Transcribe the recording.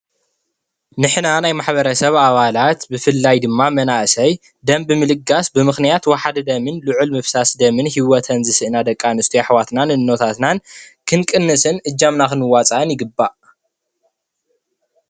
ንሕና ናይ ማሕበረሰብ ኣባላት ብፍላይ ድማ መናእሰይ ደም ብምልጋስ ብምክንያት ዋሕዲ ደምን ልዕል ምፍሳስ ደምን ሂወተን ዝስእና ደቂ ኣንስትዮ ኣሕዋትናን እኖታትናን ክንቅንስን እጃምና ክንዋፃእን ይግባእ።